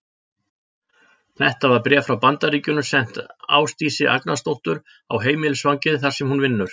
Þetta var bréf frá Bandaríkjunum sent Ásdísi Agnarsdóttur á heimilisfangið, þar sem hún vinnur.